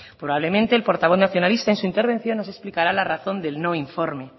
probablemente el portavoz nacionalista en su intervención nos explicará la razón del no informe